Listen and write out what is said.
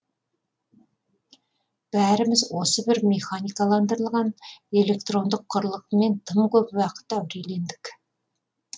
бәріміз осы бір механикаландырылған электрондық құрылғымен тым көп уақыт әурелендік